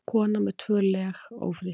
Kona með tvö leg ófrísk